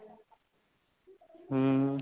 ਹੁਣ